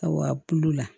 Aw a bulu la